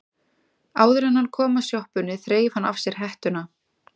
Áður en hann kom að sjoppunni þreif hann af sér hettuna.